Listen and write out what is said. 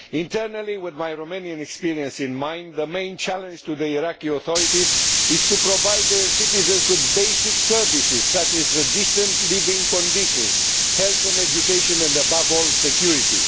Internally with my Romanian experience in mind the main challenge to the Iraqi authorities is to provide their citizens with basic services, such as decent living conditions, health and education and above all security.